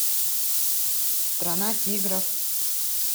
страна тигров